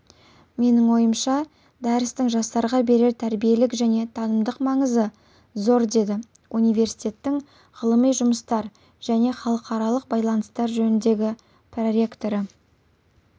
менің ойымша дәрістің жастарға берер тәрбиелік және танымдық маңызы зордеді университеттің ғылыми жұмыстар және халықаралық байланыстар жөніндегі проректоры